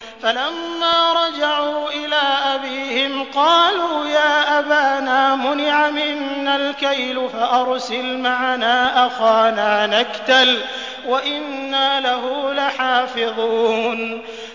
فَلَمَّا رَجَعُوا إِلَىٰ أَبِيهِمْ قَالُوا يَا أَبَانَا مُنِعَ مِنَّا الْكَيْلُ فَأَرْسِلْ مَعَنَا أَخَانَا نَكْتَلْ وَإِنَّا لَهُ لَحَافِظُونَ